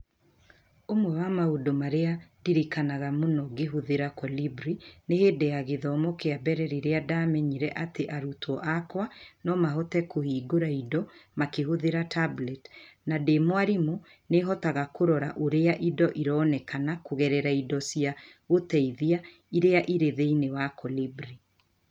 Ũmwe wa maũndũ marĩa ndirikanaga mũno ngĩhũthĩra Kolibri nĩ hĩndĩ ya gĩthomo kĩa mbere rĩrĩa ndaamenyire atĩ arutwo akwa no mahote kũhingũra indo makĩhũthĩra tablet, na ndĩ mwarimũ, nĩ hotaga kũrora ũrĩa indo ironeka kũgerera indo cia gũteithia iria irĩ thĩinĩ wa Kolibri.